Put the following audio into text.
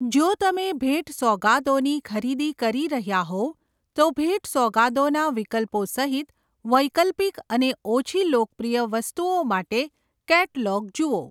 જો તમે ભેટ સોગાદોની ખરીદી કરી રહ્યાં હોવ તો ભેટ સોગાદોના વિકલ્પો સહિત વૈકલ્પિક અને ઓછી લોકપ્રિય વસ્તુઓ માટે કેટલોગ જુઓ.